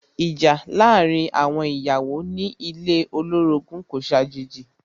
Ìjà láàárín àwọn ìyàwó ilé ní ilé olorogun kò ṣàjèjì.